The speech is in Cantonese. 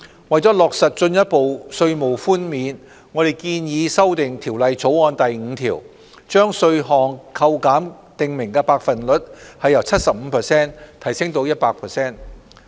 為落實進一步稅務寬免，我們建議修訂《條例草案》第5條，將稅項扣減的訂明百分率由 75% 提升至 100%。